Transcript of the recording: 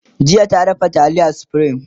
jiya ta dafa taliyar supreme